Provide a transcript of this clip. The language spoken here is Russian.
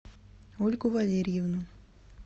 ольгу валерьевну